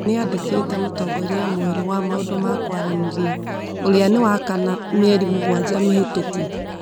Nĩ andĩkĩte mũtongoria mwerũ wa maũndũ ma kwaranĩria, ũrĩa nĩ wa kana mĩeri mũgwanja mĩhĩtũku.